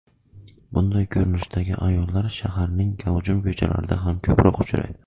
Bunday ko‘rinishdagi ayollar shaharning gavjum ko‘chalarida ham ko‘proq uchraydi.